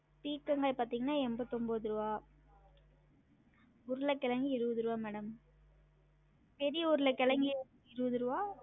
பீர்க்கங்காய் பாத்திங்கன்னா எம்பதொன்போது ருவா உருளகெழங்கு இருவது ருவா madam பெரிய உருளகெழங்கு எர் இருவது ருவா